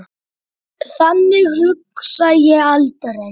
Þannig hugsa ég aldrei.